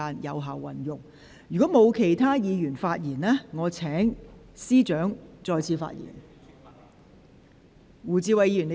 如果沒有其他委員想發言，我現在請律政司司長再次發言。